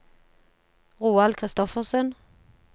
Roald Christoffersen